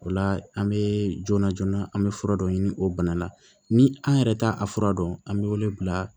O la an bɛ joona joona an bɛ fura dɔ ɲini o bana la ni an yɛrɛ t'a a fura dɔn an bɛ wele bila